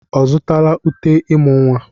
Ọ zụtala uté ịmụ́ nwa?